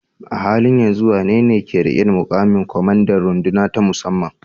A halin yanzu wanene ke riƙe da muƙamin kwamandan runduna ta musamman?